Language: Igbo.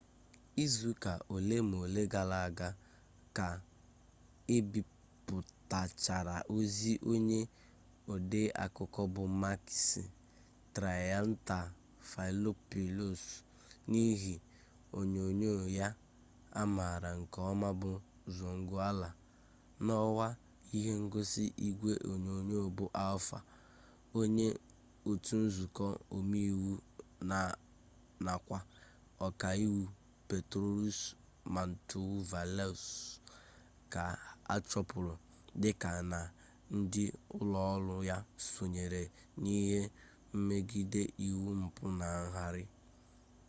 izuụka ole ma ole gara aga ka ebipụtachara ozi onye odeakụko bụ makis triantafylopoulos n'ihe onyonyo ya a maara nke ọma bụ zoungla n'ọwa ihe ngosi igwe onyonyo bụ alfa onye otu nzukọ omeiwu nakwa ọkaiwu petros mantouvalos ka a chụpụrụ dịka na ndị ụlọọrụ ya sonyere n'ihe mmegide iwu mpụ na ngarị